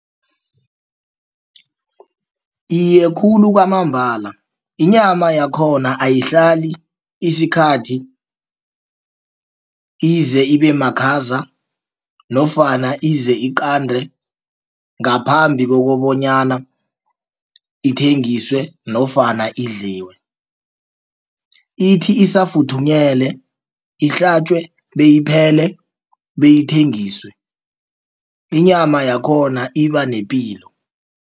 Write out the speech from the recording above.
Iye, khulu kwamambala inyama yakhona ayihlali isikhathi ize ibemakhaza nofana ize iqande. Ngaphambi kokobonyana ithengiswe nofana idliwe ithi isafuthunyelwe ihlatjwe beyiphele bayithengiswe inyama yakhona ibanepilo.